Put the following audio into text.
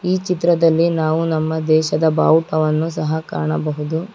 ಈ ಚಿತ್ರದಲ್ಲಿ ನಾವು ನಮ್ಮ ದೇಶದ ಬಾವುಟವನ್ನು ಸಹ ಕಾಣಬಹುದು.